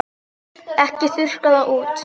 Ekki þurrka það út.